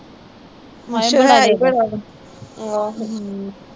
ਮੱਛਰ ਹੈ ਈ ਬੜਾ ਵਾ